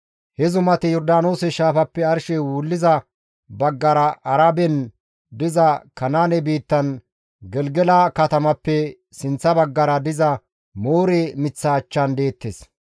He zumati Yordaanoose shaafappe arshey wulliza baggara Araben diza Kanaane biittan Gelgela katamappe sinththa baggara diza Moore miththa achchan deettes.